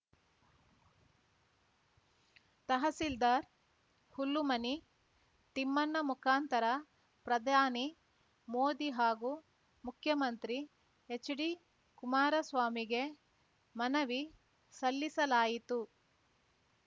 ತಹಸೀಲ್ದಾರ್‌ ಹುಲ್ಲುಮನಿ ತಿಮ್ಮಣ್ಣ ಮುಖಾಂತರ ಪ್ರಧಾನಿ ಮೋದಿ ಹಾಗೂ ಮುಖ್ಯಮಂತ್ರಿ ಹೆಚ್‌ಡಿಕುಮಾರಸ್ವಾಮಿಗೆ ಮನವಿ ಸಲ್ಲಿಸಲಾಯಿತು